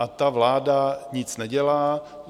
A ta vláda nic nedělá.